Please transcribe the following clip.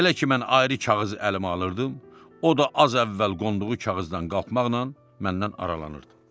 Elə ki mən ayrı kağız əlimə alırdım, o da az əvvəl qonduğu kağızdan qalxmaqla məndən aralanırdı.